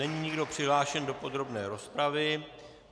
Není nikdo přihlášen do podrobné rozpravy.